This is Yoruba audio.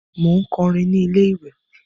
Mò ń kọrin ní ilé-ìwè